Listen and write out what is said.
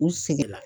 U seginna